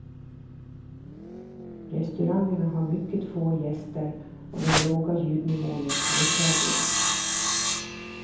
Restaurangerna har mycket få gäster och den låga ljudnivån är påtaglig.